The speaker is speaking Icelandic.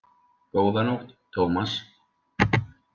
Góða nótt, Thomas